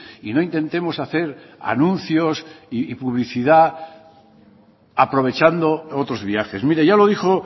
y no intentemos hacer anuncios y publicidad aprovechando otros viajes mire ya lo dijo